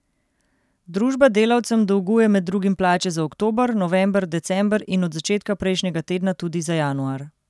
Družba delavcem dolguje med drugim plače za oktober, november, december in od začetka prejšnjega tedna tudi za januar.